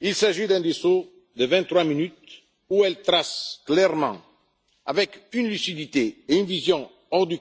Il s'agit d'un discours de vingt trois minutes dans lequel elle trace clairement, avec une lucidité et une vision hors du